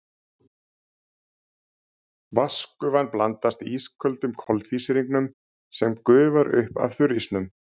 Vatnsgufan blandast ísköldum koltvísýringnum sem gufar upp af þurrísnum.